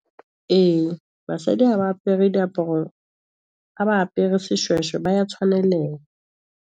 Ee, basadi ha ba apere diaparo ha ba apepre seshweshwe, ba ya tshwaneleha.